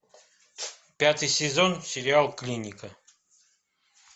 пятый сезон сериал клиника